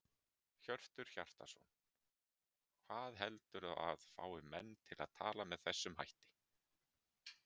Hjörtur Hjartarson: Hvað heldurðu að fái menn til að tala með þessum hætti?